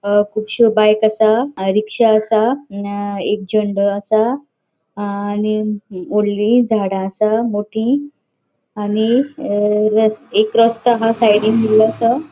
अ कुबश्यो बाइक असा रिक्शा असा एक झेंडो असा आणि वोडली झाड़ा असा मोटी आणि ये एक रस्तों आह साइडीन इलोसो.